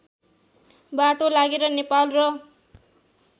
बाटो लागेर नेपाल र